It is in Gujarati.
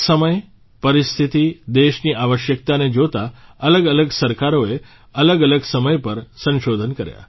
સમય પરિસ્થિતિ દેશની આવશ્યકતાને જોતાં અલગઅલગ સરકારોએ અલગઅલગ સમય પર સંશોધન કર્યા